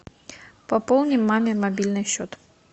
пополни мамин мобильный счет